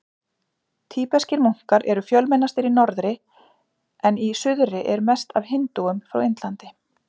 Tíbeskir munkar eru fjölmennastir í norðri en í suðri eru mest af hindúum frá Indlandi.